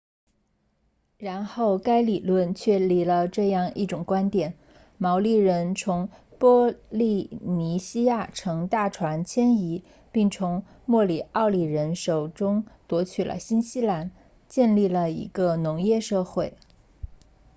然后该理论确立了这样一种观点毛利人从波利尼西亚乘大船迁移并从莫里奥里人手中夺取了新西兰建立了一个农业社会